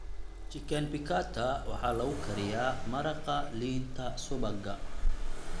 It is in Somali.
Chicken piccata waxaa lagu kariyaa maraqa liinta-subagga.